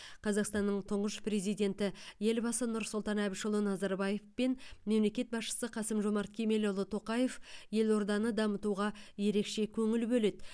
қазақстанның тұңғыш президенті елбасы нұрсұлтан әбішұлы назарбаев пен мемлекет басшысы қасым жомарт кемелұлы тоқаев елорданы дамытуға ерекше көңіл бөледі